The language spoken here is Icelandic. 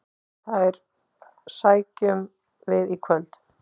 Þær sækjum við í kvöld.